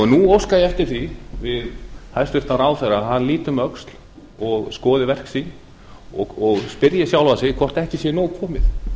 nú óska ég eftir því við hæstvirtan ráðherra að hann líti um öxl og skoði verk sín og spyrji sjálfan sig hvort ekki sé nóg komið